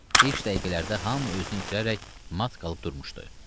İlk dəqiqələrdə hamı özünü itirərək mat qalıb durmuşdu.